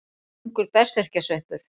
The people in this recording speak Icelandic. Ungur berserkjasveppur.